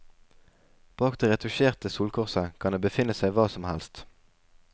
Bak det retusjerte solkorset kan det befinne seg hva som helst.